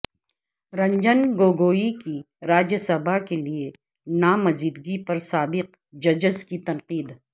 رنجن گوگوئی کی راجیہ سبھا کیلئے نامزدگی پر سابق ججس کی تنقید